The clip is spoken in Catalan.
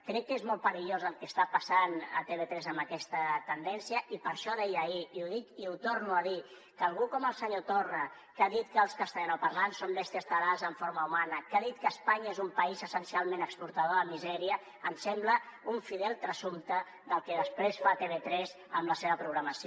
crec que és molt perillós el que està passant a tv3 amb aquesta tendència i per això deia ahir i ho dic i ho torno a dir que algú com el senyor torra que ha dit que els castellanoparlants són bèsties tarades amb forma humana que ha dit que espanya és un país essencialment exportador de misèria em sembla un fidel transsumpte del que després fa tv3 amb la seva programació